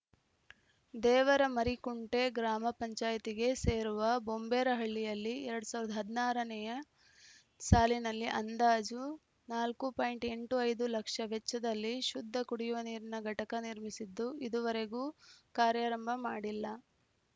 ದೇವರಮರಿಕುಂಟೆ ಗ್ರಾಮ ಪಂಚಾಯಿತಿಗೆ ಸೇರುವ ಬೊಂಬೆರಹಳ್ಳಿಯಲ್ಲಿ ಎರಡ್ ಸಾವಿರದ ಹದಿನಾರ ರನೇ ಸಾಲಿನಲ್ಲಿ ಅಂದಾಜು ನಾಲ್ಕು ಪಾಯಿಂಟ್ ಎಂಟು ಐದು ಲಕ್ಷ ವೆಚ್ಚದಲ್ಲಿ ಶುದ್ಧ ಕುಡಿಯುವ ನೀರಿನ ಘಟಕ ನಿರ್ಮಿಸಿದ್ದು ಇದುವರೆಗೂ ಕಾರ್ಯಾರಂಭ ಮಾಡಿಲ್ಲ